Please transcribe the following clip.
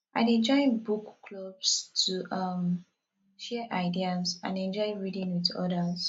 i dey join book clubs to um share ideas and enjoy reading with others